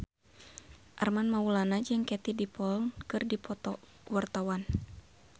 Armand Maulana jeung Katie Dippold keur dipoto ku wartawan